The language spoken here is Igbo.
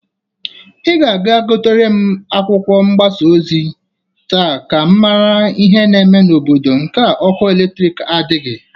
Ị ga-aga gotere m akwụkwọ mgbasa ozi taa ka m mara ihi na-eme n'obodo nke a ọkụ eletriki nadịghị.